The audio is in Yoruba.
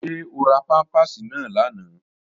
Ṣé o ra pámpàsì náà lánàá?